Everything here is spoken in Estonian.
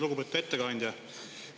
Lugupeetud ettekandja!